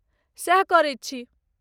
सएह करैत छी।